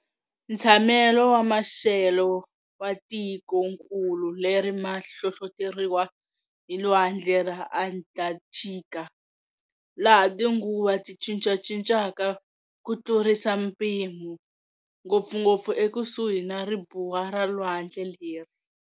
Ntshamelo ma xelo wa tikonkulu leri ma hlohloteriwa hi lwandle ra Atlanthika, laha tinguva ti cincacincaka kutlurisa mpimo, ngopfungopfu ekusuhi na ribuwa ra lwandle leri.